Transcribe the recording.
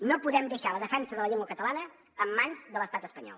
no podem deixar la defensa de la llengua catalana en mans de l’estat espanyol